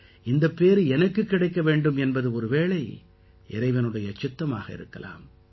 இந்தப் பேறு எனக்குக் கிடைக்க வேண்டும் என்பது ஒரு வேளை இறைவனுடைய சித்தமாக இருக்கலாம்